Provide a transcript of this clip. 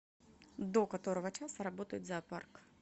до которого часа работает зоопарк